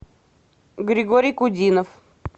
григорий кудинов